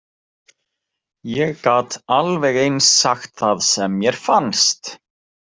Ég gat alveg eins sagt það sem mér fannst.